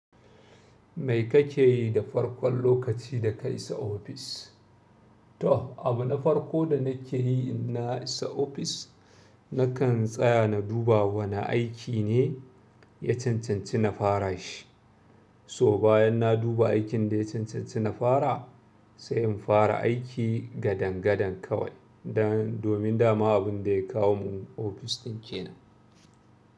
Me kake yi da farkon lokaci da ka isa ofis? To, abu na farko da nake yi inna isa ofis, nakan tsaya na duba wane aiki ne ya cancanci na fara shi. So bayan na duba aikin da ya cancanci na fara, sai in fara aiki gadangadan kawai domin dama abinda ya kawo mu ofis ɗin kenan.